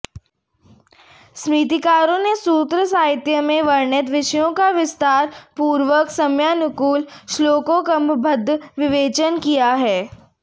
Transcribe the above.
स्मृतिकारों ने सूत्र साहित्य में वर्णित विषयों का विस्तार पूर्वक समयानुकूल श्लोकबद्ध विवेचन किया है